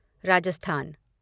Rajasthan